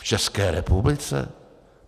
V České republice?